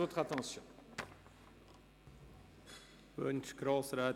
Grossrätin Junker nochmals das Wort?